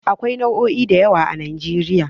Akwai jami'o'i da yawa a Nijeriya